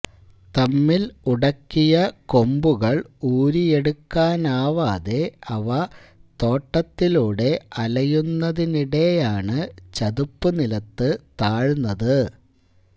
തമ്മിൽ ഉടക്കിയ കൊമ്പുകൾ ഊരിയെടുക്കാനാവാതെ അവ തോട്ടത്തിലൂടെ അലയുന്നതിനിടെയാണ് ചതുപ്പുനിലത്ത് താഴ്ന്നത്